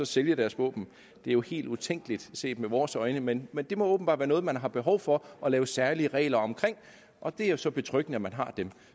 sælge deres våben det er jo helt utænkeligt set med vores øjne men det må åbenbart være noget man har behov for at lave særlige regler om og det er jo så betryggende at man har dem